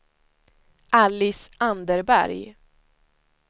Alice Anderberg